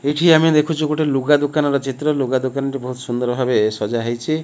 ଏଇଠି ଆମେ ଦେଖୁଛୁ ଗୋଟେ ଲୁଗା ଦୁକାନର ଚିତ୍ର ଲୁଗା ଦୁକାନଟି ବହୁତ୍ ସୁନ୍ଦର ଭାବରେ ସଜା ହେଇଛି।